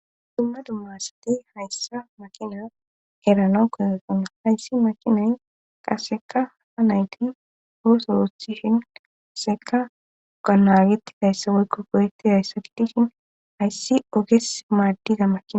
Dumma dummasati hayssa makina erana kozotana hayssi makinay qaseka ha nayti hoosorothishin aseka ganageti haysse woykko goyetti hayssa kidi shin hayssi oges maaddiza makina.